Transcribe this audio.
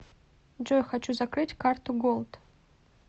джой хочу закрыть карту голд